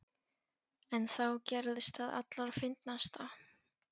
En þá gerðist það allra fyndnasta.